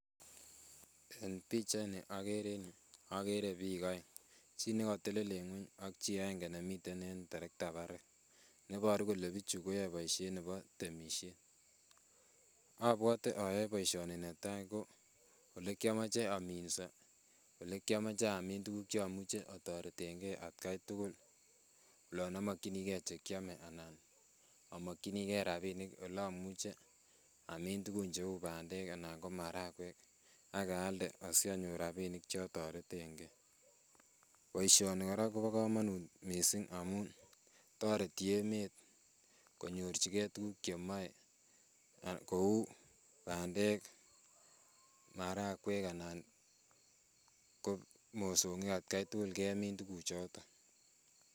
En pichaini okere en yuu okere biik oeng, chii nekotelel en ngweny ak chii aeng'e nemiten en terekta barak neboru kolee bichu koyoe boishet nebo temishet, obwote ayoe boishoni netai ko olekiomoje ominso olekiomoche amiin tukuk chomuche otoreteng'e atkai tukul, olon omokyinike chekiome anan omokyinike rabinik olomuche amin tukun cheuu bandek anan ko marakwek ak aalde asionyor rabinik chetoreteng'e, boishoni kora kobokomonut mising amun toreti emet konyorchike tukuk chemoe kouu bandek, marakwek anan ko mosong'ik atkai tukul kemin tukuchoton.